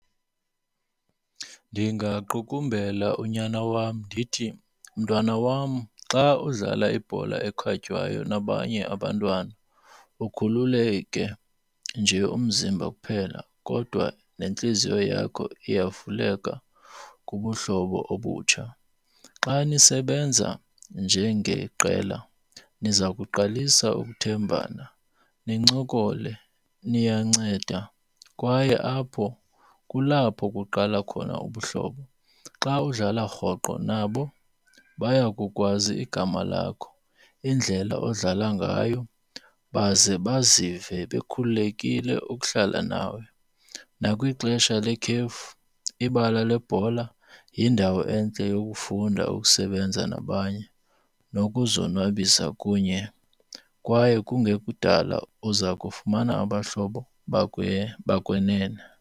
Ndingaqukumbela unyana wam ndithi mntwana wam xa udlala ibhola ekhatywayo nabanye abantwana ukhululeke nje umzimba kuphela kodwa nentliziyo yakho iyavuleka kubuhlobo obutsha. Xa nisebenza njengeqela niza kuqalisa ukuthembana, nincokole niyanceda, kwaye apho kulapho kuqala khona ubuhlobo. Xa udlala rhoqo nabo baya kukwazi igama lakho, indlela odlala ngayo baze bazive bekhululekile ukuhlala nawe. Nakwixesha lekhefu ibala lebhola yindawo entle yokufunda ukusebenza nabanye nokuzonwabisa kunye kwaye kungekudala uza kufumana abahlobo bakwenene.